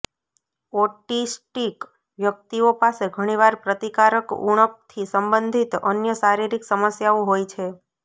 autistic વ્યક્તિઓ પાસે ઘણીવાર પ્રતિકારક ઉણપથી સંબંધિત અન્ય શારીરિક સમસ્યાઓ હોય છે